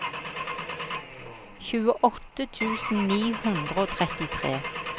tjueåtte tusen ni hundre og trettitre